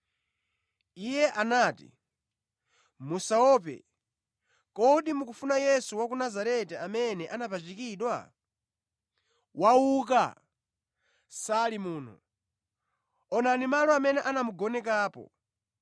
Iye anati, “Musaope. Kodi mukufuna Yesu wa ku Nazareti, amene anapachikidwa? Wauka! Sali muno. Onani malo amene anamugonekapo.